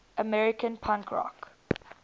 american punk rock